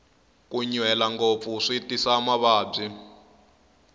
ku nyuhela ngopfu swi tisa mavabyi